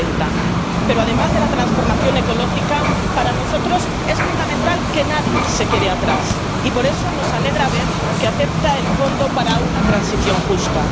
2030. Pero, además de la transformación ecológica, para nosotros es fundamental que nadie se quede atrás y, por eso, nos alegra ver que acepta el fondo para una transición justa.